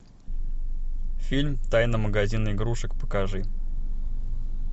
фильм тайна магазина игрушек покажи